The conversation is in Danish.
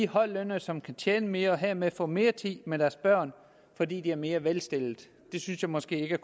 højtlønnede som kan tjene mere hermed får mere tid med deres børn fordi de er mere velstillede og det synes jeg måske ikke kan